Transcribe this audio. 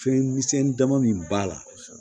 Fɛn misɛnnin dama min b'a la